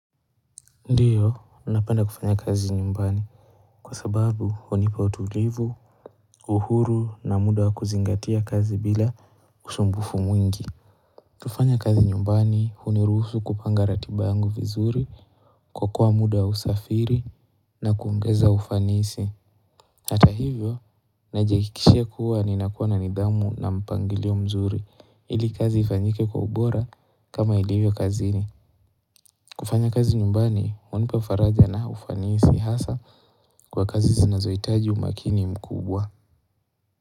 Ndiyo napenda kufanya kazi nyumbani kwa sababu hunipa utulivu uhuru na muda wa kuzingatia kazi bila usumbufu mwingi kufanya kazi nyumbani huniruhusu kupanga ratiba yangu vizuri kuoka muda wa usafiri na kuongeza ufanisi. Hata hivyo najihakikishia kuwa ninakuwa na nidhamu na mpangilio mzuri ili kazi ifanyike kwa ubora kama ilivyo kazini kufanya kazi nyumbani, wanipa faraja na ufanisi hasa kwa kazi zinazohitaji umakini mkubwa.